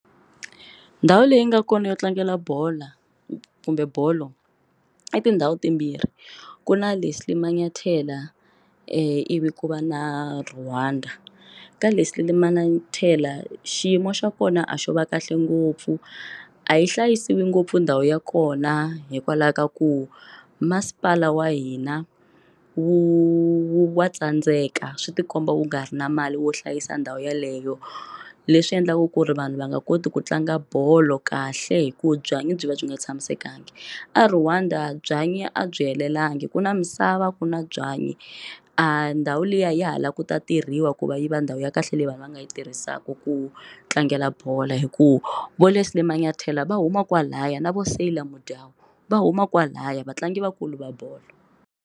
Ndhawu leyi nga kona yo tlangela bola kumbe bolo i tindhawu timbirhi ku na le Sally Malanthela ivi ku va na Rwanda ka la Sally Malanthela xiyimo xa kona a xo va kahle ngopfu a yi hlayisiwi ngopfu ndhawu ya kona hikwalaho ka ku masipala wa hina wu wu wa tsandzeka swi tikomba wu nga ri na mali wo hlayisa ndhawu yeleyo leswi endlaku ku ri vanhu va nga koti ku tlanga bolo kahle hikuva byanyi byi va byi nga tshamisekanga a Rwanda byanyi a byi helelangi ku na misava ku na byanyi a ndhawu liya ya halaka ku ta tirhiwa ku va yiva ndhawu ya kahle leyi vanhu va nga yi tirhisaka ku tlangela bolo hikuva Va Lesly Malanthela va huma kwalaya na vo Siyile mindyangu va huma kwalaya vatlangi vakulu va bolo.